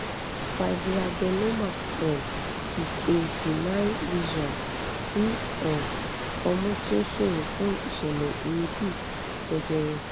fibroadenoma um is a benign lesion ti um omu tí ó ṣòro fún ìṣẹ̀lẹ̀ èébí jejere